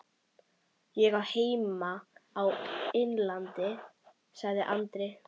Ég á heima á Innlandi, sagði Andri.